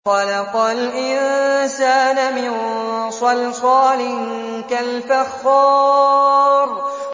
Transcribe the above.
خَلَقَ الْإِنسَانَ مِن صَلْصَالٍ كَالْفَخَّارِ